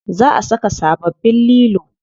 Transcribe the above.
Za a saka sababbin lilo.